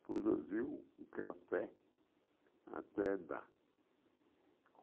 Produziu o café até dar.